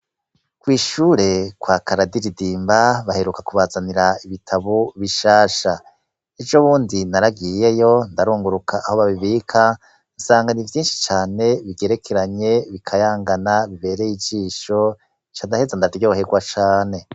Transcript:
Kwishure kwa Karadiridimba baheruka kubazanira ibitabo bishasha, ejo bundi naragiyeyo ndarunguruka aho babibika nsanga ni vyinshi cane bigerekeranye bikayangana bibereye ijisho candaheza ndaryohegwa cane